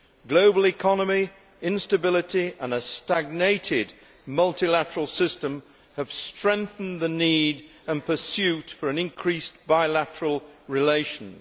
Global economy, instability and a stagnated mutlilateral system have strengthened the need and pursuit for increased bilateral relations.